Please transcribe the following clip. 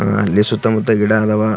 ಆಹ್ಹ್ ಅಲ್ಲಿ ಸುತ್ತ ಮುತ್ತ ಗಿಡ ಅದಾವ.